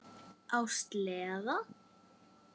Á sleða.